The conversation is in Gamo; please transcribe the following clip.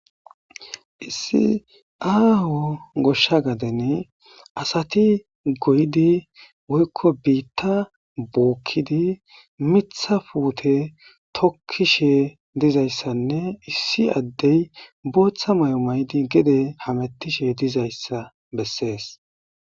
issi aaho goshsha gaden asati goydi woykko biitta bookkidi mitha puute tokkishe dizayssanne issi addey booththa may7o maydi gede hamettishe dizayssa bessees